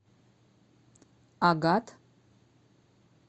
агат